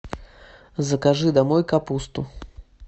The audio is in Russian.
закажи домой капусту